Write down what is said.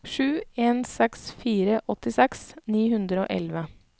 sju en seks fire åttiseks ni hundre og elleve